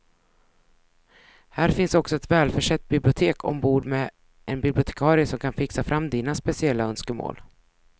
Här finns också ett välförsett bibliotek ombord med en bibliotekarie som kan fixa fram dina speciella önskemål.